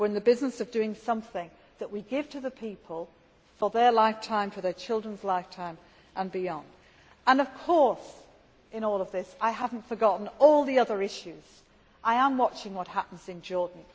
We are in the business of doing something that we give to the people for their lifetime, for their children's lifetime and beyond. And, of course, in all of this I have not forgotten all the other issues. I am watching what happens in Jordan.